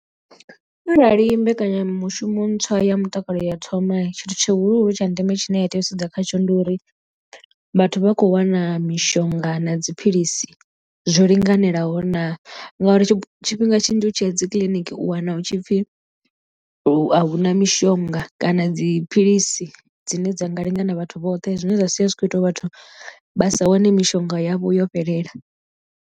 Arali mbekanyamushumo ntswa ya mutakalo ya thoma tshithu tshihulu hulu tsha ndeme tshine ya tea u sedza khatsho ndi uri vhathu vha khou wana mishonga na dziphilisi zwo linganelaho naa. Ngauri tshifhinga tshinzhi u tshi ya dzi kiḽiniki u wana hu tshipfi a hu na mishonga kana dziphilisi dzine dza nga lingana vhathu vhoṱhe zwine zwa sia zwi kho ita uri vhathu vha sa wane mishonga yavho yo fhelela.